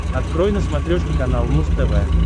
открой на смотрешке канал муз тв